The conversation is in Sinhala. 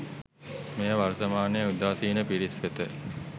මෙය වර්තමානයේ උදාසීන පිරිස් වෙත